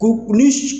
Ko ni